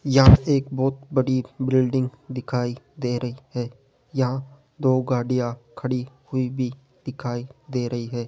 यहाँ एक बहोत बड़ी बिल्डिंग दिखाई दे रही है यहाँ दो गाड़ियां खड़ी हुई भी दिखाई दे रही हैं।